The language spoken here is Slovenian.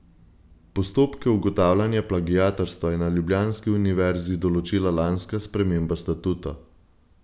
Postopke ugotavljanja plagiatorstva je na ljubljanski univerzi določila lanska sprememba statuta.